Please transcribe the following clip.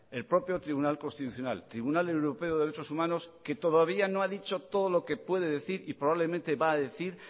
el propio tribunal constitucional y tribunal europeo de derechos humanos que todavía no ha dicho todo lo que puede decir y probablemente va a decir